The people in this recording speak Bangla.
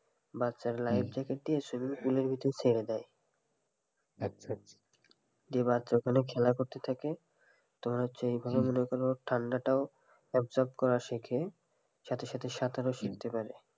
বাচ্চারা life jacket দিয়ে swimming pool এর ভিতর ছেড়ে দেয় তখন বাচ্চারা ওখানে খেলা করতে থাকে তোমার হচ্ছে ঠান্ডাটাও absorb করা শেখে সাথে সাথে সাঁতারও শেখতে পারে,